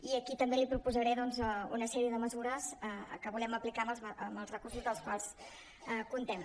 i aquí també li proposaré doncs una sèrie de mesures que volem aplicar amb els recursos amb els quals comptem